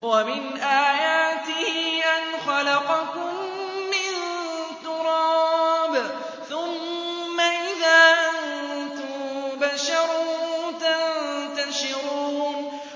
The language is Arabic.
وَمِنْ آيَاتِهِ أَنْ خَلَقَكُم مِّن تُرَابٍ ثُمَّ إِذَا أَنتُم بَشَرٌ تَنتَشِرُونَ